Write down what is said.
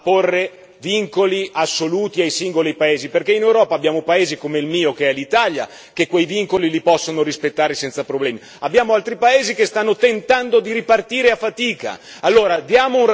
Allora attenzione a porre vincoli assoluti ai singoli paesi, perché in Europa abbiamo paesi come il mio, l'Italia, che quei vincoli li possono rispettare senza problemi, ma abbiamo anche altri paesi che stanno tentando di ripartire a fatica.